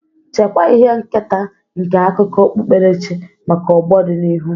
Chekwaa ihe nketa nke akụkọ okpukperechi maka ọgbọ dị n'ihu.